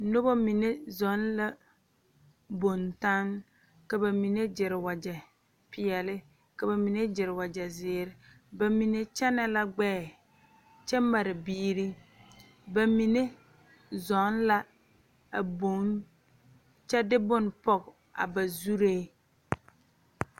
Noba mine zɔna bontanne ka bamine gere wagye peɛle ka bamine gere wagye ziiri bamine kyɛne la gbɛɛ kyɛ mare biiri bamine zɔ la a bonne kyɛ de bonne poɔ a ba zure.